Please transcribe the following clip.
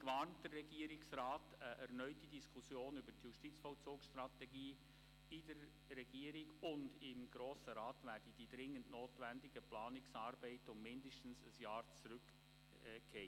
Gleichzeitig warnt der Regierungsrat, eine erneute Diskussion über die Justizvollzugsstrategie in der Regierung und im Grossen Rat werde die dringend notwendigen Planungsarbeiten um mindestens ein Jahr verzögern.